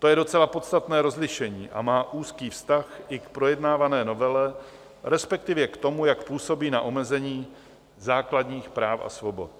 To je docela podstatné rozlišení a má úzký vztah i k projednávané novele, respektive k tomu, jak působí na omezení základních práv a svobod.